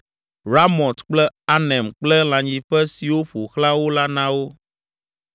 Ramot kple Anem kple lãnyiƒe siwo ƒo xlã wo la na wo.